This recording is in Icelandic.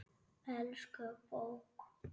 Elsku bók!